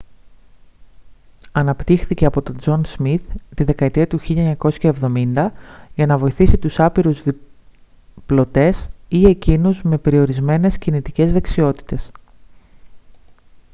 αναπτύχθηκε από τον τζον σμιθ τη δεκαετία του 1970 για να βοηθήσει τους άπειρους διπλωτές ή εκείνους με περιορισμένες κινητικές δεξιότητες